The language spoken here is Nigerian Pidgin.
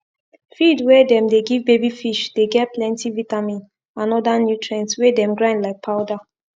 feed wey them dey give baby fish dey get plenty vitamins and other nutrients wey them grind like powder